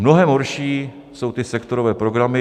Mnohem horší jsou ty sektorové programy.